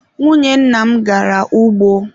Nwunye nna m gara ugbo.